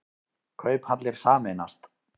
Kauphallir sameinast